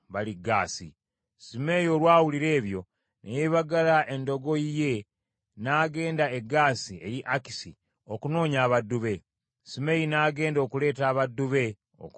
Simeeyi olwawulira ebyo, ne yeebagala endogoyi ye n’agenda e Gaasi eri Akisi okunoonya abaddu be. Simeeyi n’agenda okuleeta abaddu be okuva e Gaasi.